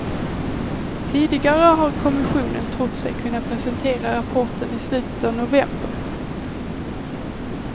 Tidigare har kommissionen trott sig kunna presentera rapporten i slutet av november.